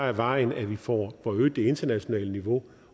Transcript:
er vejen at vi får øget det internationale niveau